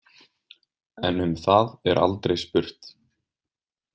En um það er aldrei spurt.